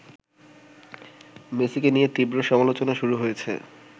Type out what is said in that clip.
মেসিকে নিয়ে তীব্র সমালোচনা শুরু হয়েছে